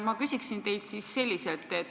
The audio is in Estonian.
Ma küsiksin teilt siis sedasi.